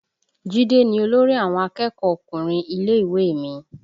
Jide ni olórí àwọn akẹ́kọ̀ọ́ ọkùnrin ilé ìwé mi